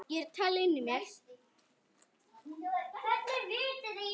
Daða var boðið til stofu.